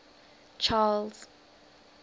charles